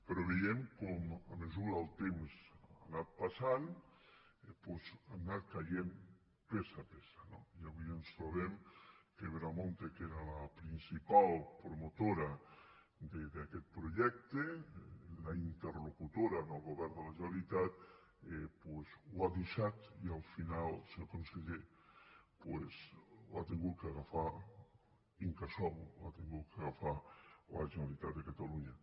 però veiem com a mesura que el temps que ha anat passant doncs ha anat caient peça a peça no i avui ens trobem que veremonte que era la principal pro·motora d’aquest projecte la interlocutora amb el go·vern de la generalitat doncs ho ha deixat i al final senyor conseller ho ha hagut d’agafar incasòl ho ha hagut d’agafar la generalitat de catalunya